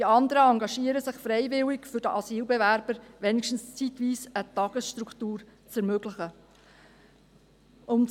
Die anderen engagieren sich freiwillig, um den Asylbewerbern wenigstens zeitweise eine Tagesstruktur zu ermöglichen.